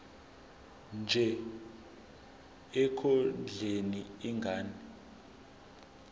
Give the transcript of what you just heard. nje ekondleni ingane